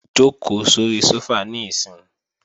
Jòkó sóri sófà níìsín!